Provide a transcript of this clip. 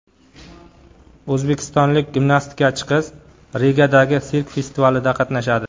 O‘zbekistonlik gimnastikachi qiz Rigadagi sirk festivalida qatnashadi.